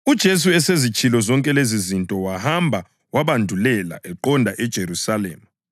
UJesu esezitshilo zonke lezizinto wahamba wabandulela eqonda eJerusalema.